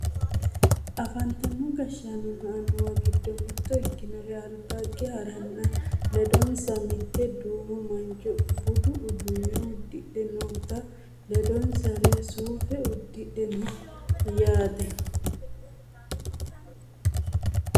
afantino gashshaanonna annuwu giddo mitto ikkinori albaage haranna ledonsa mitte du'ma mancho budu uduunne uddihe notanna ledoseri suufe uddidhe no yaate